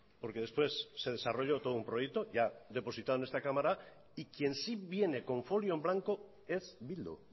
porque después se desarrolló todo un proyecto ya depositado en esta cámara y quien sí viene con folio en blanco es bildu